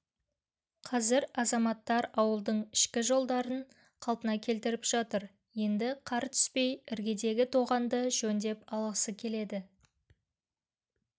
қазір азаматтар ауылдың ішкі жолдарын қалпына келтіріп жатыр енді қар түспей іргедегі тоғанды жөндеп алғысы келеді